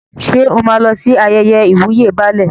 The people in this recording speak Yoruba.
Ṣé o máa lọ sí ayẹyẹ ìwúyè Baálẹ̀?